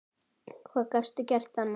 Hvað gastu gert annað?